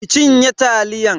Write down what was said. ki cinye taliyan.